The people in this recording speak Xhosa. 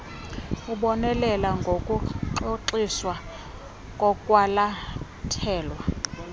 ubonelele ngokurhoxiswa kokwalathelwa